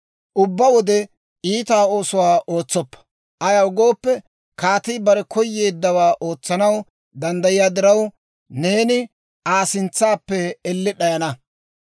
Ubbaa wode iita oosuwaa ootsoppa; ayaw gooppe, kaatii bare koyeeddawaa ootsanaw danddayiyaa diraw, neeni Aa sintsappe elle d'ayana.